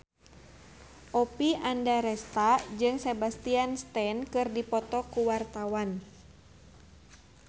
Oppie Andaresta jeung Sebastian Stan keur dipoto ku wartawan